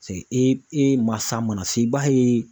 e mansa mana se i b'a ye